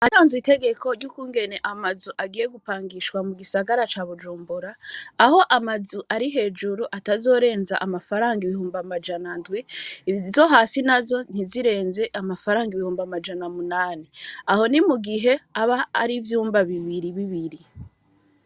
Haranzwe itegeko ryukungene amazu agiye gupangishwa mu gisagara ca Bujumbura aho amazu ari hejuru atazorenza amafaranga ibihumbi amajanandwi, izo hasi nazo ntizirenze amafaranga ibihumbi amajani umunani Aho nimugihe aba arivyumba bibiri bibiri.